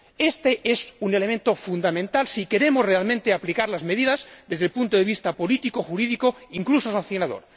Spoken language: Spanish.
Este es un elemento fundamental si queremos realmente aplicar las medidas desde el punto de vista político, jurídico, incluso sancionador.